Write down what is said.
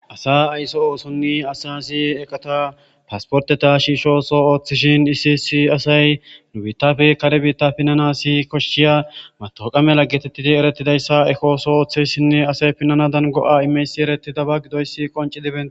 Asa aysso oosonni asa si eqata pasporteta shiishoso ooththishin isisi asay nu biittafe kare biitta pinnana si koshshiya matoqa mela geetettidi eretidayssa ekooso ooththeyssinne asay pinnanadan go7a imeysi ereti daba gidoyssi qonci diben.